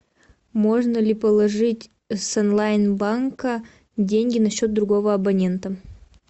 можно ли положить с онлайн банка деньги на счет другого абонента